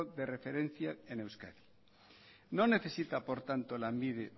de referencia en euskadi no necesita por tanto lanbide